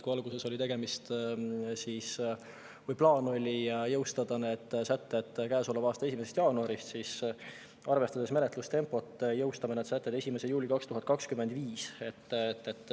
Kui alguses oli plaan, et need sätted jõustuvad käesoleva aasta 1. jaanuaril, siis arvestades menetlustempot, me jõustame need sätted 1. juulil 2025.